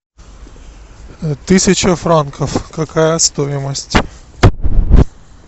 тысяча франков какая стоимость